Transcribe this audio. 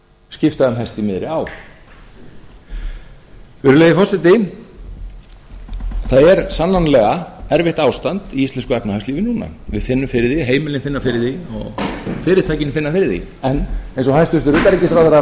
skipta um hest í miðri á virðulegi forseti það er sannanlega erfitt ástand í íslensku efnahagslífi núna við finnum fyrir því heimilin finna fyrir því og fyrirtækin finna fyrir því en eins og hæstvirtur utanríkisráðherra